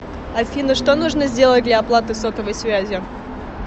афина что нужно сделать для оплаты сотовой связи